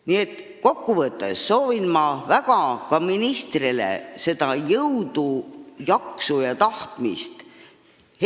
Nii et kokku võttes ma väga soovin ka ministrile jõudu, jaksu ja tahtmist.